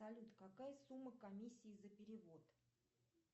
салют какая сумма комиссии за перевод